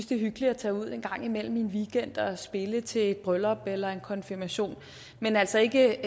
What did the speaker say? det er hyggeligt at tage ud en gang imellem en weekend og spille til et bryllup eller en konfirmation men altså ikke